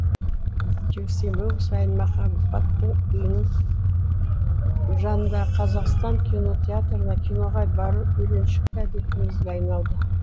жексенбі сайын махаббаттың үйінің жанындағы қазақстан кинотеатрына киноға бару үйреншікті әдетімізге айналды